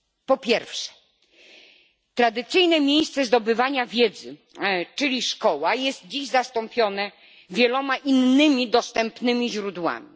Po pierwsze, tradycyjne miejsce zdobywania wiedzy, czyli szkoła, jest dziś zastąpione wieloma innymi dostępnymi źródłami.